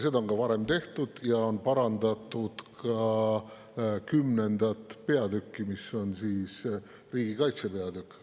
Seda on ka varem tehtud ja on parandatud ka X. peatükki, mis on riigikaitse peatükk.